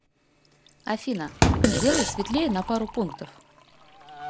афина сделай светлее на пару пунктов